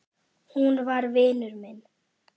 Hún var vinur minn.